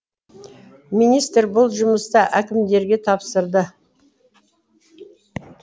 министр бұл жұмысты әкімдерге тапсырды